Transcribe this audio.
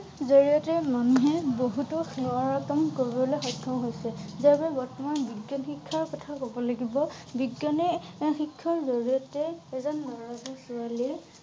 জৰিয়তে মানুহে বহুতো নোৱাৰা কাম কৰিবলৈ সক্ষম হৈছে। যেনে বৰ্তমান বিজ্ঞান শিক্ষাৰ কথা কব লাগিব । বিজ্ঞানে এ শিক্ষাৰ জৰিয়তে এজন লৰা বা ছোৱালীয়ে